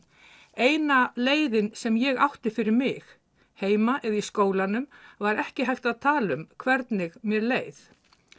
eina leiðin sem ég átti fyrir mig heima eða í skólanum var ekki hægt að tala um hvernig mér leið